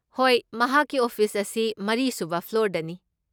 ꯍꯣꯏ, ꯃꯍꯥꯛꯀꯤ ꯑꯣꯐꯤꯁ ꯑꯁꯤ ꯃꯔꯤꯁꯨꯕ ꯐ꯭ꯂꯣꯔꯗꯅꯤ꯫